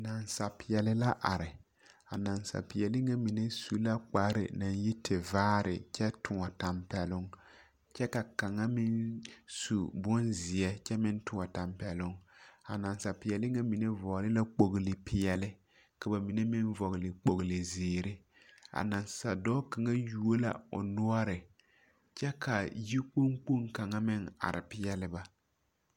Nansapeԑle la are. A nansapeԑle ŋa mine su la kpare naŋ yi tevaare kyԑ tõͻ tampԑloŋ kyԑ ka kaŋa meŋ su bonzeԑ kyԑ meŋ tõͻ tampԑloŋ. A nansapeԑle ŋa mine vͻgele la kpogili peԑle ka ba mine meŋ vͻgele kpogili zeere. A nansa dͻͻ kaŋa you la o noͻre kyԑ yikpoŋ kpoŋ kaŋa are peԑle ba.